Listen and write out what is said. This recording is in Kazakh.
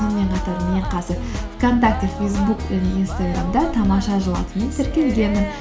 сонымен қатар мен қазір вконтакте фейсбук және инстаграмда тамаша жыл атымен тіркелгенмін